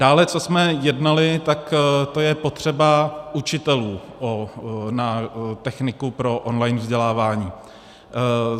Dále, co jsme jednali, tak to je potřeba učitelů na techniku pro online vzdělávání.